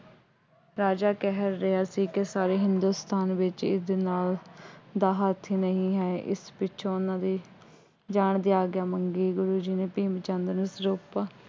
ਰਾਜਾ ਕਹਿ ਰਿਹਾ ਸੀ ਕਿ ਸਾਰੇ ਹਿੰਦੁਸਤਾਨ ਵਿੱਚ ਇਸ ਨਾਲ ਦਾ ਹਾਥੀ ਨਹੀਂ ਹੈ। ਇਸ ਪਿੱਛੋਂ ਉਹਨਾ ਦੇ ਜਾਣ ਦੀ ਆਗਿਆ ਮੰਗੀ। ਗੁਰੂ ਜੀ ਨੇ ਭੀਮ ਚੰਦ ਨੂੰ ਸਿਰੋਪਾ